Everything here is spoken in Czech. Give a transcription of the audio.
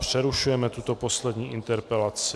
Přerušujeme tuto poslední interpelaci.